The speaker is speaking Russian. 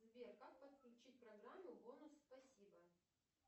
сбер как подключить программу бонус спасибо